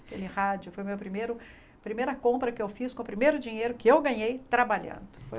Aquele rádio foi meu primeiro a primeira compra que eu fiz com o primeiro dinheiro que eu ganhei trabalhando.